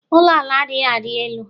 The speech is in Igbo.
ụlọ ala adighị a dị elu